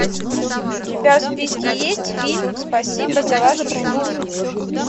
у тебя в списке есть фильм спасибо за вашу службу